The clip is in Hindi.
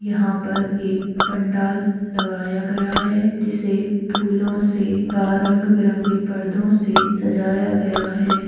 यहाँ पर एक पंडाल लगया गया है जिसे फूलों से वा रंग-बिरंगे पर्दो से सजाया गया है।